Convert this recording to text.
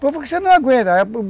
Porque você não aguenta.